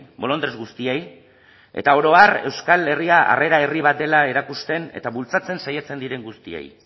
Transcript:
bolondres guztiei eta oro har euskal herria harrera herri bat dela erakusten eta bultzatzen saiatzen diren guztiei